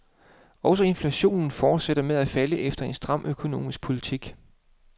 Også inflationen fortsætter med at falde efter en stram økonomisk politik.